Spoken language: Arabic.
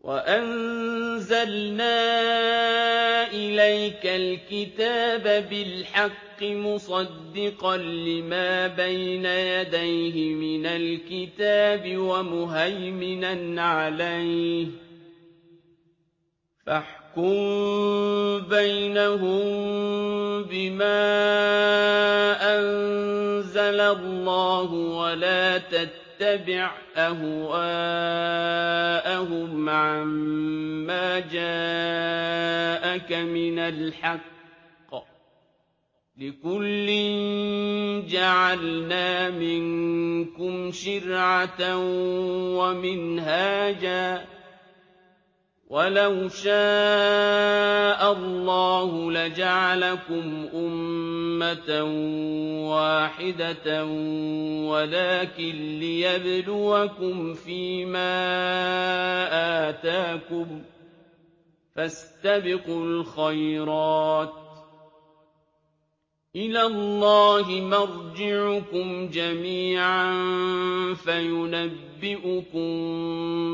وَأَنزَلْنَا إِلَيْكَ الْكِتَابَ بِالْحَقِّ مُصَدِّقًا لِّمَا بَيْنَ يَدَيْهِ مِنَ الْكِتَابِ وَمُهَيْمِنًا عَلَيْهِ ۖ فَاحْكُم بَيْنَهُم بِمَا أَنزَلَ اللَّهُ ۖ وَلَا تَتَّبِعْ أَهْوَاءَهُمْ عَمَّا جَاءَكَ مِنَ الْحَقِّ ۚ لِكُلٍّ جَعَلْنَا مِنكُمْ شِرْعَةً وَمِنْهَاجًا ۚ وَلَوْ شَاءَ اللَّهُ لَجَعَلَكُمْ أُمَّةً وَاحِدَةً وَلَٰكِن لِّيَبْلُوَكُمْ فِي مَا آتَاكُمْ ۖ فَاسْتَبِقُوا الْخَيْرَاتِ ۚ إِلَى اللَّهِ مَرْجِعُكُمْ جَمِيعًا فَيُنَبِّئُكُم